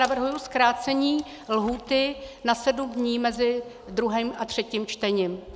Navrhuji zkrácení lhůty na 7 dní mezi druhým a třetím čtením.